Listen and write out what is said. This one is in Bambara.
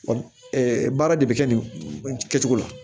baara de bɛ kɛ nin kɛcogo la